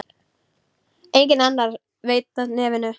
Enginn annar veit af nefinu.